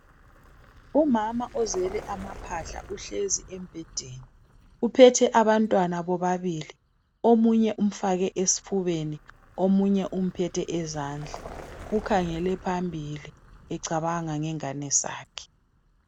Umama ozele amaphahla uhlezi embhedeni uphethe abantwana bobabili omunye umfake esifubeni omunye umphethe ezandla ukhangele phambili becabanga ngengane zakhe